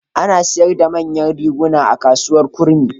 Ana sayar da manyan riguna a Kasuwar Kurmi.